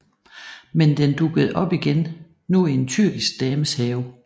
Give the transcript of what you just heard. Men den dukkede op igen nu i en tyrkisk dames have